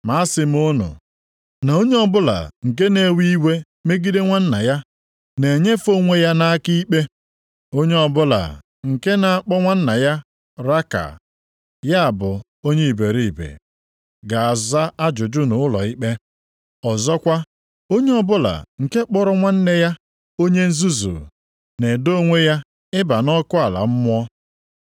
Ma asị m unu, na onye ọbụla nke na-ewe iwe megide nwanna ya, na-enyefe onwe ya nʼaka ikpe. Onye ọbụla nke na-akpọ nwanna ya ‘\+tl Raka\+tl*,’ ya bụ Onye iberiibe, + 5:22 Ọfọ ogori, nʼokwu nlelị anya ga-aza ajụjụ nʼụlọikpe. Ọzọkwa, onye ọbụla nke kpọrọ nwanne ya, + 5:22 Nke a pụtara nwanna nʼime Kraịst ‘Onye nzuzu,’ + 5:22 Maọbụ, Onye na-enweghị uche na-edo onwe ya ịba nʼọkụ ala mmụọ.